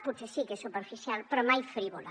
potser sí que és superficial però mai frívola